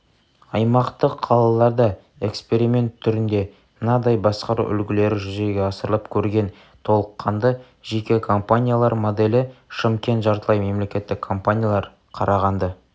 аймақтық қалаларда эксперимент түрінде мынадай басқару үлгілері жүзеге асырылып көрген толыққанды жеке компаниялар моделі шымкент жартылай мемлекеттік компаниялар қарағанды